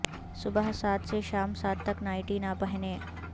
صبح سات سے شام سات تک نائٹی نہ پہنیں